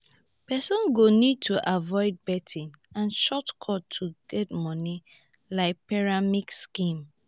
person go need to avoid betting and short cut to get money like pyramid scheme